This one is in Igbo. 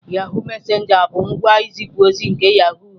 Yahụ messenger bụ ngwa nzipu ozi nke yahoo haziri.